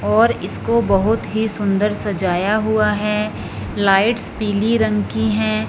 और इसको बहोत ही सुंदर सजाया हुआ हैं लाइट्स पीली रंग की हैं।